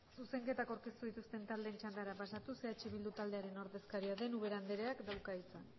zuzenketak aurkeztu dituzten taldeen txandara pasatuz eh bildu taldearen ordezkaria den ubera andereak dauka hitza